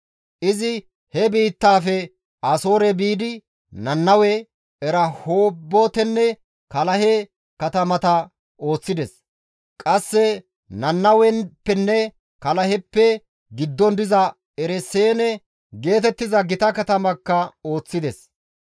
Izi he biittaafe Asoore biidi Nannawe, Erahoobotenne Kaalahe katamata ooththides; qasse Nannaweppenne Kaalaheppe giddon diza Ereseene geetettiza gita katamakka ooththides.